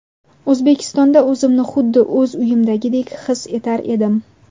O‘zbekistonda o‘zimni xuddi o‘z uyimdagidek his etar edim”.